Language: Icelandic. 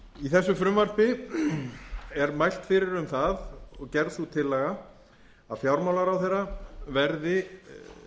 í þessu frumvarpi er mælt fyrir um það og gerð sú tillaga að fjármálaráðherra verði